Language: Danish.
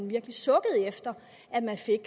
virkelig sukker efter